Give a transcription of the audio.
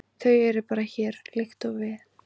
Þau eru bara hér, líkt og við.